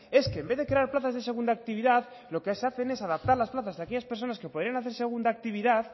es que en vez de crear plazas de segunda actividad lo que se hacen es adaptar las plazas de aquellas personas que podrían hacer segunda actividad